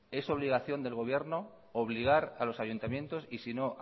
es obligación del gobierno obligar a los ayuntamientos y si no